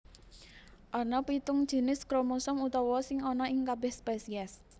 Ana pitung jinis kromosom utama sing ana ing kabèh spesies